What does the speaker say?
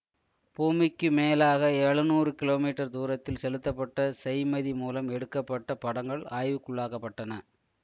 பூமிக்கு மேலாக எழநூறு கிலோ மீட்டர் தூரத்தில் செலுத்தப்பட்ட செய்மதி மூலம் எடுகக்ப்பட்ட படங்கள் ஆய்வுக்குள்ளாக்கப்பட்டன